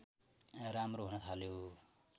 राम्रो हुन थाल्यो